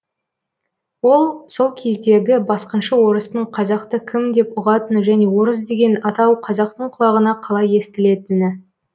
ол сол кездегі басқыншы орыстың қазақты кім деп ұғатыны және орыс деген атау қазақтың құлағына қалай естілетіні